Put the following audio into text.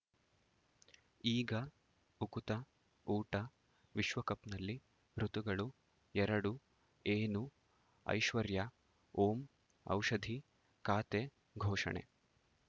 ಈಗ ಉಕುತ ಊಟ ವಿಶ್ವಕಪ್‌ನಲ್ಲಿ ಋತುಗಳು ಎರಡು ಏನು ಐಶ್ವರ್ಯಾ ಓಂ ಔಷಧಿ ಖಾತೆ ಘೋಷಣೆ